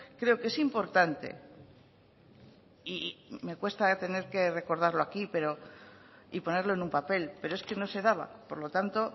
creo que es importante y me cuesta tener que recordarlo aquí y ponerlo en un papel pero es que no se daba por lo tanto